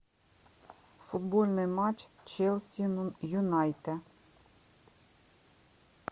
футбольный матч челси юнайтед